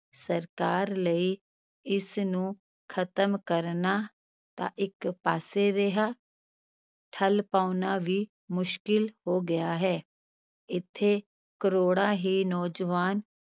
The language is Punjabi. ਸਰਕਾਰ ਲਈ ਇਸ ਨੂੰ ਖ਼ਤਮ ਕਰਨਾ ਤਾਂ ਇਕ ਪਾਸੇ ਰਿਹਾ ਠੱਲ੍ਹ ਪਾਉਣਾ ਵੀ ਮੁਸ਼ਕਲ ਹੋ ਗਿਆ ਹੈ, ਇੱਥੇ ਕਰੋੜਾਂ ਹੀ ਨੌਜਵਾਨ